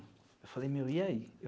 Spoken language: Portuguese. Eu falei, meu, e aí?